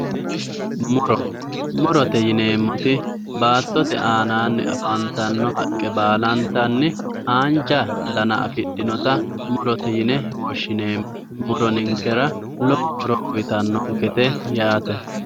muro murote yineemmoti baattote aanaanni afantanno haqqe baalantanni haanja dana afidhinota murote yine woshshineemmo muro ninkera lowo horo uyiitannonkete yaate.